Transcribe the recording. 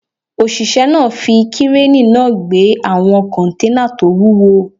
Òṣìṣẹ́ náà fi kírénì náà gbé àwọn kọ́nténà tó wúwo